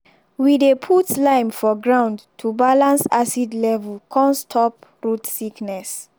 we dey put lime for ground to balance acid level come stop root sickness.